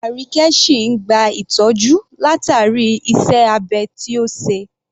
Arike sìn ìn gba ìtọ́jú látàrí iṣẹ́ abẹ tí ó ṣe.